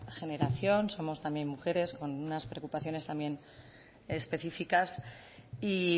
generación somos también mujeres con unas preocupaciones también específicas y